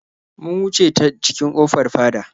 Mun wuce ta cikin ƙofar fada.